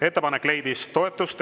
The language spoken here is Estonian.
Ettepanek leidis toetust.